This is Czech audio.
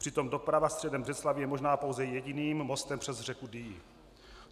Přitom doprava středem Břeclavi je možná pouze jediným mostem přes řeku Dyji.